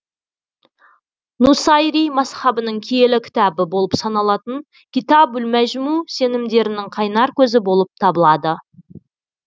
нусайри мазһабының киелі кітабы болып саналатын китабул межму сенімдерінің қайнар көзі болып табылады